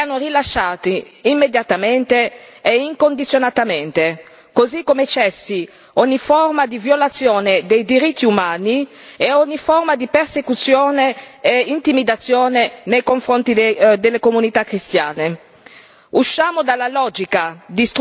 Chiediamo che i due reverendi siano rilasciati immediatamente e incondizionatamente, così come cessi ogni forma di violazione dei diritti umani e ogni forma di persecuzione e intimidazione nei confronti delle comunità cristiane.